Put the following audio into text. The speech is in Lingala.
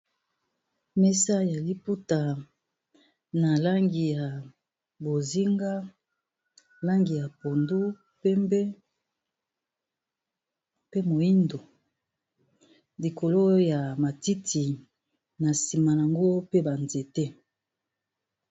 Mesa ya liputa na langi ya bozinga, langi ya pondu, pembe, pe moyindo, likolo ya matiti na nsima nango pe ba nzete.